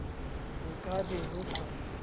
ho ka be ho sa